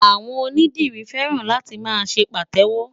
Àwọn onídìrí fẹ́ràn láti máa ṣe Pàtẹ́wọ́.